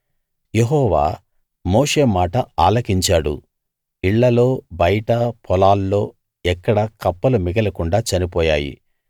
యెహోవా మోషే మాట ఆలకించాడు ఇళ్ళలో బయటా పొలాల్లో ఎక్కడా కప్పలు మిగలకుండా చనిపోయాయి